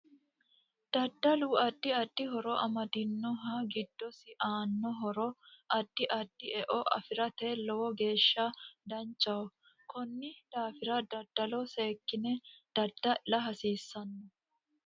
Daddalu addi addi horo amddinoho giddosi aano horo addi addi e'o afirate lowo geesha danchaho koni daafira daddalo sekine daddal'la hasiisanno